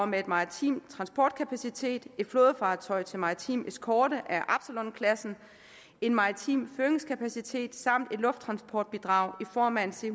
med maritim transportkapacitet et flådefartøj til maritim ekskorte af absalon klassen maritim føringskapacitet samt et lufttransportbidrag i form af et c